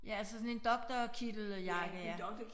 Ja altså sådan en doktorkitteljakke ja